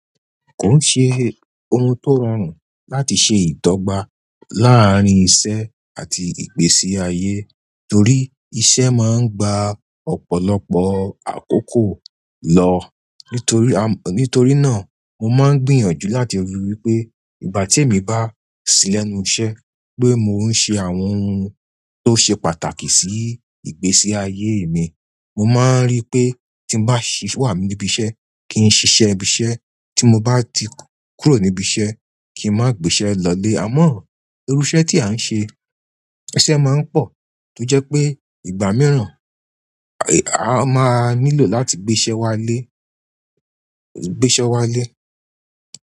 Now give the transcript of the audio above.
Kon ṣe oun to rọrùn láti ṣe ìdọ́gba laarin iṣẹ́ at ìgbésí aye. Torí iṣẹ́ maa n gba ọ̀pọ̀lọpọ̀ akoko lọ. Nítorí à, nítorí náà mo máa ń gbìyànjú láti ríi wí pé ìgbà tí èmi bá sí lẹ́nu iṣẹ́, pé mò ń ṣe àwọn ohun tó ṣe pàtàkì sí ìgbésí ayé mi. Mo máa ń rí pé tí mo bá sì wà níbi iṣẹ́ kí n ṣiṣẹ́ ibi iṣẹ́, tí mo bá ti kúrò níbi iṣẹ́ kí n máa gbé iṣẹ́ lọlé. Àmọ́, irú iṣẹ́ tí à ń ṣe, iṣẹ́ máa ń pọ̀ tó jẹ́ pé ìgbà mìíràn, a máa nílò láti gbé iṣẹ́ wa lé, gbé iṣẹ́ wá lé.